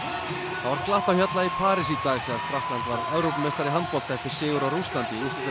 það var glatt á hjalla í París í dag þegar Frakkland varð Evrópumeistari í handbolta eftir sigur á Rússlandi